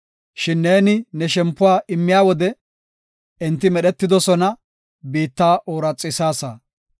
Shin neeni ne shempuwa immiya wode, enti medhetoosona; biitta ooraxisaasa.